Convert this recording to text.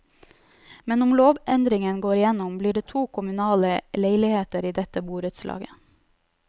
Men om lovendringen går igjennom, blir det to kommunale leiligheter i dette borettslaget.